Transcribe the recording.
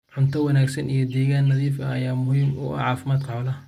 unto wanaagsan iyo deegaan nadiif ah ayaa muhiim u ah caafimaadka xoolaha.